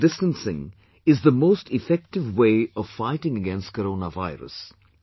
Social distancing is the most effective way of fighting against corona virus